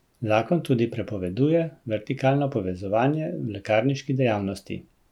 Zakon tudi prepoveduje vertikalno povezovanje v lekarniški dejavnosti.